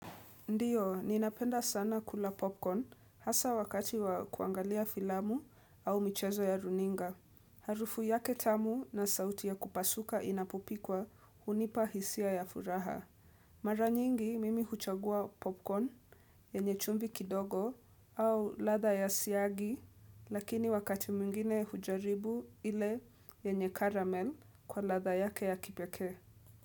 Ndiyo ninapenda sana kula popcorn hasa wakati wa kuangalia filamu au michezo ya runinga Harufu yake tamu na sauti ya kupasuka inapopikwa hunipa hisia ya furaha Mara nyingi mimi huchagua popcorn yenye chumvi kidogo au ladha ya siagi lakini wakati mwingine hujaribu ile yenye caramel kwa ladha yake ya kipekee.